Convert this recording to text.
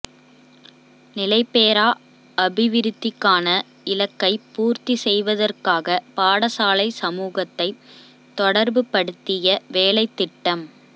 நிலைபேறா அபிவிருத்திக்கான இலக்கை பூர்த்தி செய்வதற்காக பாடசாலை சமூகத்தை தொடர்புபடுத்திய வேலைத்திட்டம்